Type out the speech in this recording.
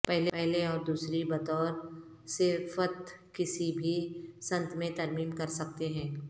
پہلے اور دوسری بطور صفت کسی بھی سنت میں ترمیم کرسکتے ہیں